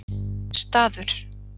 Staður